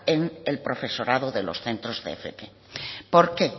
en el profesorado de los centros de fp porque